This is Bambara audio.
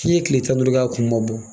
K'i ye tile tan ni duuru kɛ a kun ma bɔ